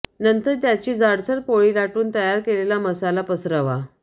नंतर त्याची जाडसर पोळी लाटून तयार केलेला मसाला पसरवा